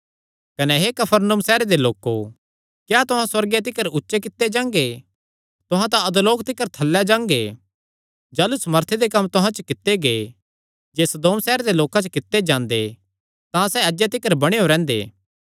कने हे कफरनहूम सैहर दे लोको क्या तुहां सुअर्गे तिकर ऊचे कित्ते जांगे तुहां तां अधोलोक तिकर थल्लैं जांगे जाह़लू सामर्थी दे कम्म तुहां च कित्ते गै जे सदोम सैहरे दे लोकां च कित्ते जांदे तां सैह़ अज्जे तिकर बणेयो रैंह्दे